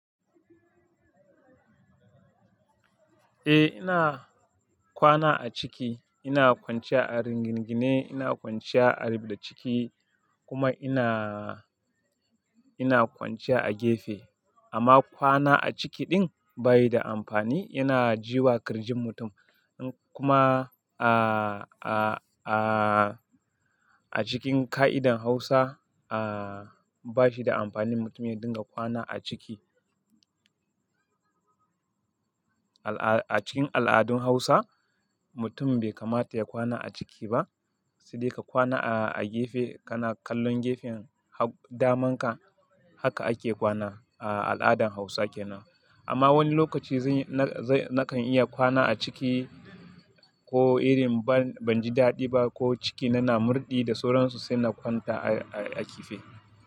Eh ina kwana a ciki, ina kwanciya a ringinge, ina kwanciya a ribda ciki kuma ina, ina kwanciya a gefe. Amma kwana a ciki din bayi da amfani, yana ji wa kirjin mutum. Kuma a, a, a, a cikin ƙa'idan Hausa, a, bashi da amfanin mutumin ya dinga kwana a ciki. Al'a-- a cikin al'adun Hausa, mutum bai kamata ya kwana a ciki ba, sai dai ka kwana a, a gefe, kana kallon gefen ha-- daman ka, haka ake kwana a al'adan Hausa kenan. Amma wani lokaci zai, na zai, nakan iya kwana a ciki ko irin ban, banji daɗi ba ko ciki na na murɗi da sauransu sai na kwanta a, a gefe.